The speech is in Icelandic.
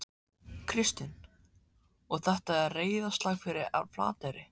Kristinn: Og þetta er reiðarslag fyrir Flateyri?